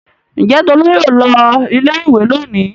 Ǹjẹ́ Tolú yóò lọ ilé-ìwé lónìí?